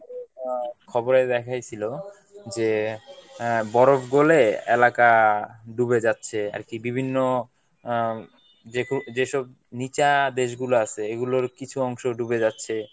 আহ খবরে দেখাইছিলো যে আহ বরফ গলে এলাকা ডুবে যাচ্ছে। আরকি বিভিন্ন আহ যে~ যেসব নিচা দেশগুলা আছে এগুলোর কিছু অংশ ডুবে যাচ্ছে